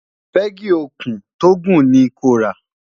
pegi òkun tó gùn ni kò rà